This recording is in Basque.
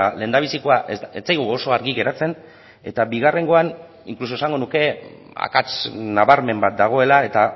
lehendabizikoa ez zaigu oso argi geratzen eta bigarrengoan inkluso esango nuke akats nabarmen bat dagoela eta